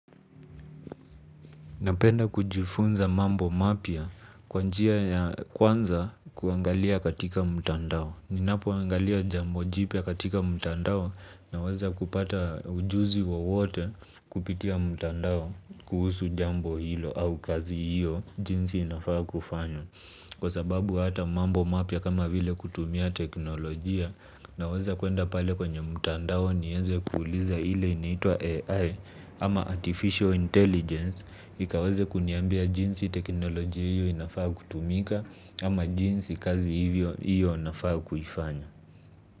Napenda kujifunza mambo mapya kwa njia ya kwanza kuangalia katika mtandao. Ninapoangalia jambo jipya katika mtandao naweza kupata ujuzi wowote kupitia mtandao kuhusu jambo hilo au kazi hiyo jinsi inafaa kufanywa. Kwa sababu hata mambo mapya kama vile kutumia teknolojia naweza kuenda pale kwenye mtandao nieze kuuliza ile inaitwa AI ama artificial intelligence. Ikawaze kuniambia jinsi teknolojia hiyo inafaa kutumika ama jinsi kazi hiyo nafaa kuifanya.